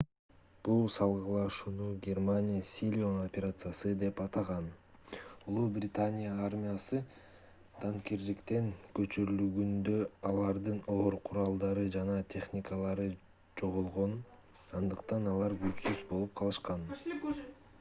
бул салгылашууну германия силион операциясы деп атаган улуу британия армиясы данкирктен көчүрүлгөндө алардын оор куралдары жана техникалары жоголгон андыктан алар күчсүз болуп калышкан